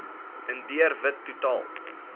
indiër wit totaal